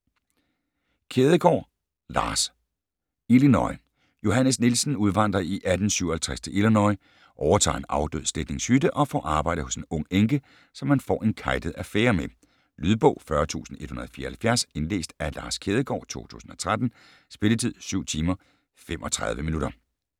Kjædegaard, Lars: Illinois Johannes Nielsen udvandrer i 1857 til Illinois, overtager en afdød slægtnings hytte og får arbejde hos en ung enke, som han får en kejtet affære med. Lydbog 40174 Indlæst af Lars Kjædegaard, 2013. Spilletid: 7 timer, 35 minutter.